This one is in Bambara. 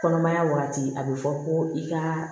Kɔnɔmaya waati a be fɔ ko i ka